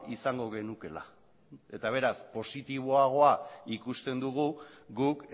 izango genukeela eta beraz positiboagoa ikusten dugu guk